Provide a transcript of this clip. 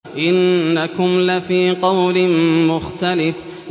إِنَّكُمْ لَفِي قَوْلٍ مُّخْتَلِفٍ